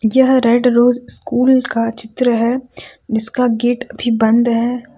यह red rose school का चित्र है जिसका गेट अभी बंद है।